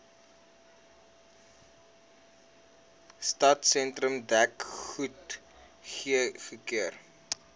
stadsentrum dek goedgekeur